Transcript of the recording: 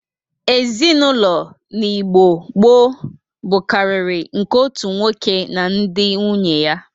Ezinaụlọ n'Igbo gboo bụkarịrị nke otu nwoke na ndị nwunye ya.